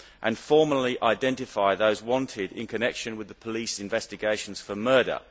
and formally identify those wanted in connection with the police investigations for murder.